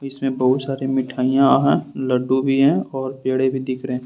इसमें बहुत सारी मिठाइयां हैं लड्डू भी है और पेड़े भी दिख रहे हैं।